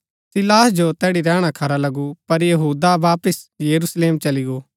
सीलास जो तैड़ी रैहणा खरा लगू पर यहूदा वापिस यरूशलेम चली गो